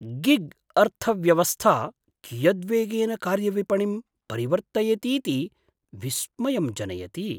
Gig अर्थव्यवस्था कियद्वेगेन कार्यविपणिं परिवर्त्तयतीति विस्मयं जनयति।